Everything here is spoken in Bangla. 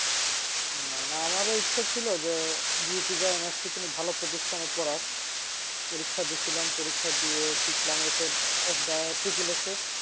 আমারও ইচ্ছা ছিল যে কোনো ভালো position এ পরার পরীক্ষা দিয়েছিলাম পরীক্ষা দিয়ে